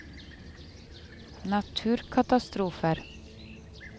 naturkatastrofer